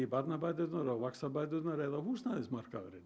barnabæturnar vaxtabæturnar eða húsnæðismarkaðurinn